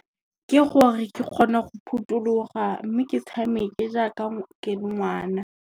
Ke gore ke kgone go phothuloga mme ke tshameke jaaka ke le ngwana.